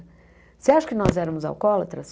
Você acha que nós éramos alcoólatras?